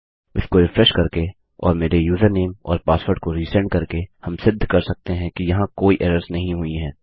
इसको रिफ्रेश करके और मेरे यूजरनेम और पासवर्ड को रिसेंड करके हम सिद्ध कर सकते हैं कि यहाँ कोई एरर्स नहीं हुई है